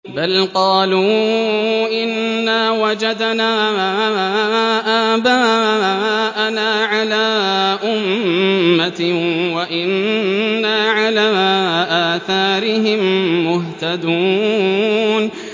بَلْ قَالُوا إِنَّا وَجَدْنَا آبَاءَنَا عَلَىٰ أُمَّةٍ وَإِنَّا عَلَىٰ آثَارِهِم مُّهْتَدُونَ